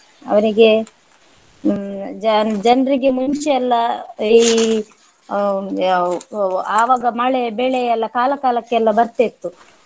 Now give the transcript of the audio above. ಅವರಿಗೆ ಹ್ಮ್ ಜನ್~ ಜನರಿಗೆ ಮುಂಚೆ ಎಲ್ಲ ಈ ಹ್ಮ್ ಹ್ಮ್ ಆಹ್ ಆವಾಗ ಮಳೆ ಬೆಳೆ ಎಲ್ಲ ಕಾಲ ಕಾಲಕ್ಕೆಲ್ಲ ಬರ್ತಾ ಇತ್ತು